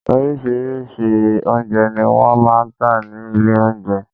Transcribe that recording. Orírìsíírìí oúnjẹ ni wọ́n máa ń tà ní ilé oúnjẹ.